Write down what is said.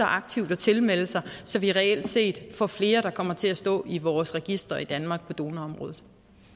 aktivt at tilmelde sig så vi reelt set får flere der kommer til at stå i vores register i danmark på donorområdet